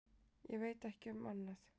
Ég veit ekki um annað.